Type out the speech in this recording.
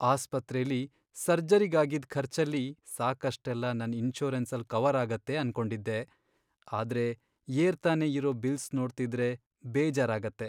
ಆಸ್ಪತ್ರೆಲಿ ಸರ್ಜರಿಗ್ ಆಗಿದ್ ಖರ್ಚಲ್ಲಿ ಸಾಕಷ್ಟೆಲ್ಲ ನನ್ ಇನ್ಶೂರೆನ್ಸಲ್ ಕವರ್ ಆಗತ್ತೆ ಅನ್ಕೊಂಡಿದ್ದೆ, ಆದ್ರೆ ಏರ್ತಾನೇ ಇರೋ ಬಿಲ್ಸ್ ನೋಡ್ತಿದ್ರೆ ಬೇಜಾರಾಗತ್ತೆ.